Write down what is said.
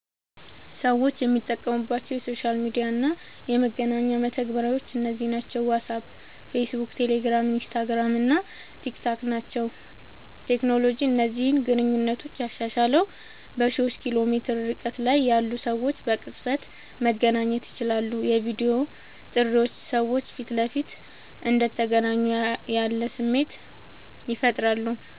ሰዎች የሚጠቀሙባቸው የሶሻል ሚዲያ እና የመገናኛ መተግበሪያዎች እነዚህ ናቸው፦ ዋትስአፕ፣ ፌስቡክ፣ ቴሌግራም፣ ኢንስታግራም እና ቲክታክ ናቸዉ።.ቴክኖሎጂ እነዚህን ግንኙነቶች ያሻሻለዉ፦ በሺዎች ኪሎ ሜትር ርቀት ላይ ያሉ ሰዎች በቅጽበት መገናኘት ይችላሉ። የቪዲዮ ጥሪዎች ሰዎች ፊት ለፊት እንደተገናኙ ያለ ስሜት ይፈጥራሉ።